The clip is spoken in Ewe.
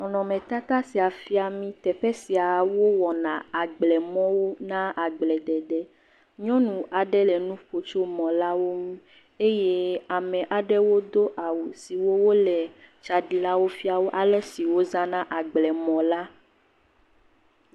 Nɔnɔmetata sia fiami teƒe sia wowɔ na agblemɔwo na agble dede. Nyɔnu aɖe le nuƒom tso mɔlawo ŋu eye ame aɖewo do awu siwo wole tsaɖilawo fiawo alesi wo zana agblemɔ la.